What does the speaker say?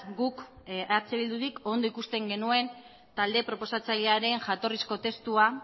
guk eh bildurik ondo ikusten genuen talde proposatzailearen jatorrizko testua